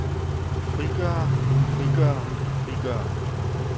frigøre frigøre frigøre